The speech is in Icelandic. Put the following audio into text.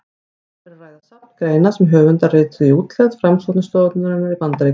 Um er að ræða safn greina sem höfundarnir rituðu í útlegð rannsóknarstofnunarinnar í Bandaríkjunum.